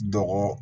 Dɔgɔ